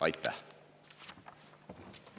Aitäh!